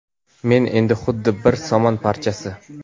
Men endi xuddi bir somon parchasi.